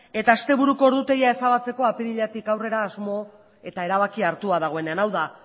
eta asteburuko ordutegia ezabatzeko apiriletik aurrera asmo eta erabakia hartua dagoenean hau da